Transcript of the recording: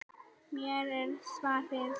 Hér er svarið.